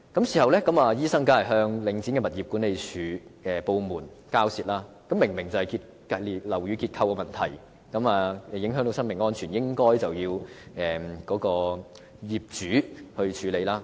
事後該名醫生當然與領展的物業管理部門交涉，因為這明明是樓宇結構的問題，影響到生命安全，應該由業主處理。